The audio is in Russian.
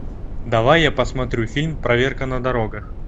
давай я посмотрю фильм проверка на дорогах